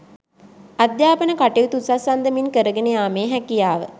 අධ්‍යාපන කටයුතු උසස් අන්දමින් කරගෙන යාමේ හැකියාව